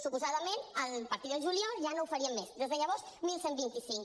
suposadament a partir del juliol ja no ho farien més des de llavors onze vint cinc